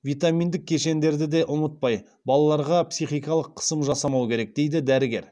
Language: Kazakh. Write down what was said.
витаминдік кешендерді де ұмытпай балаларға психикалық қысым жасамау керек дейді дәрігер